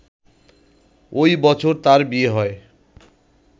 ওই বছর তার বিয়ে হয়